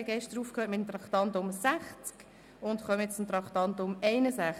Gestern hörten wir mit dem Traktandum 60 auf und kommen nun zum Traktandum 61.